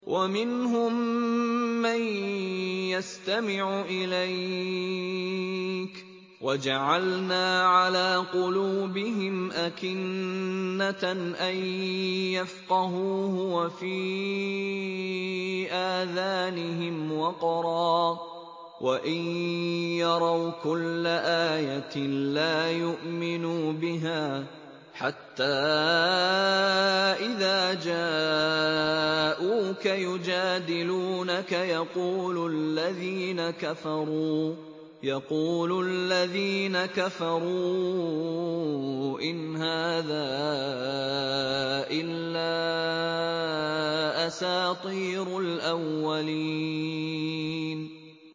وَمِنْهُم مَّن يَسْتَمِعُ إِلَيْكَ ۖ وَجَعَلْنَا عَلَىٰ قُلُوبِهِمْ أَكِنَّةً أَن يَفْقَهُوهُ وَفِي آذَانِهِمْ وَقْرًا ۚ وَإِن يَرَوْا كُلَّ آيَةٍ لَّا يُؤْمِنُوا بِهَا ۚ حَتَّىٰ إِذَا جَاءُوكَ يُجَادِلُونَكَ يَقُولُ الَّذِينَ كَفَرُوا إِنْ هَٰذَا إِلَّا أَسَاطِيرُ الْأَوَّلِينَ